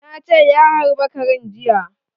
Na ce ya harbe karen jiya